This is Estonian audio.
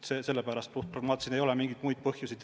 See on puhtpragmaatiline otsus, ei ole mingeid muid põhjusi.